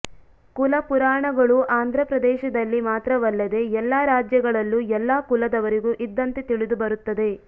ಕುಲ ಪುರಾಣಗಳು ಆಂಧ್ರ ಪ್ರದೇಶದಲ್ಲಿ ಮಾತ್ರವಲ್ಲದೆ ಎಲ್ಲ ರಾಜ್ಯಗಳಲ್ಲೂ ಎಲ್ಲ ಕುಲದವರಿಗೂ ಇದ್ದಂತೆ ತಿಳಿದುಬರುತ್ತದೆ